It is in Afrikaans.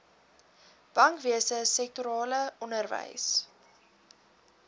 bankwese sektorale onderwys